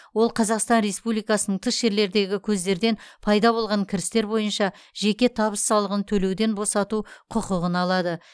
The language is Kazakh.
ол қазақстан республикасының тыс жерлердегі көздерден пайда болған кірістер бойынша жеке табыс салығын төлеуден босату құқығын алады